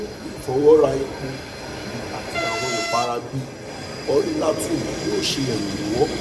fun ifọwọra epo yii ati awọn ipara bii oilatum yoo ṣe iranlọwọ